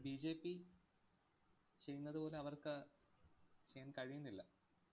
BJP ചെയ്യുന്നതുപോലെ അവർക്ക് ചെയ്യാന്‍ കഴിയുന്നില്ല.